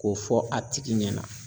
K'o fɔ a tigi ɲɛna.